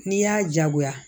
N'i y'a jagoya